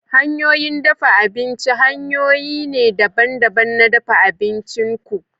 Hanyoyin dafa abinci hanyoyi ne daban-daban na dafa abincin ku.